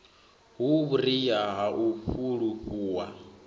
hu vhuria ha u fulufhuwa